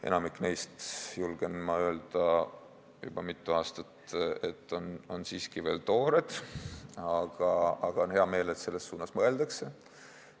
Enamik neist, olen ma julgenud öelda juba mitu aastat, on siiski veel toored, aga on hea meel, et selles suunas mõeldakse.